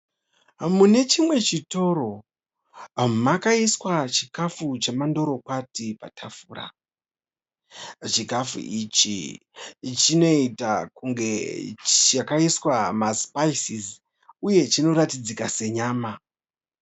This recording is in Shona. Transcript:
Mune chimwe chitoro makaiswa chikafu chendorokwati patafura. Chikafu ichi chinoita kunge chakaiswa masipaisisi uye chinoratidzika senyama.